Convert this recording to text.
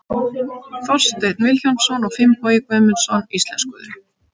Þorsteinn Vilhjálmsson og Finnbogi Guðmundsson íslenskuðu.